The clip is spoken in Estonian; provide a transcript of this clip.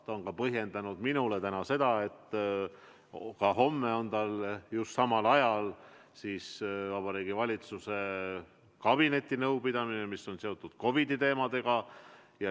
Täna ta põhjendas oma keeldumist sellega, et homme on tal just samal ajal Vabariigi Valitsuse kabinetinõupidamine, mis on samuti seotud COVID-i teemadega.